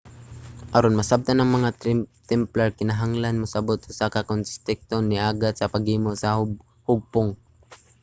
aron masabtan ang mga templar kinahanglan mosabot usa ang konteksto nga niaghat sa paghimo sa hugpong